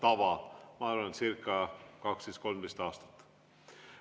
See on nii olnud circa 12–13 aastat.